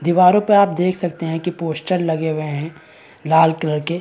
दीवारों पे आप देख सकते है कि पोस्टर लगे हुए हैं लाल कलर के--